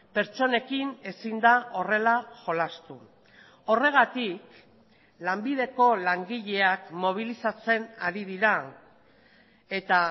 pertsonekin ezin da horrela jolastu horregatik lanbideko langileak mobilizatzen ari dira eta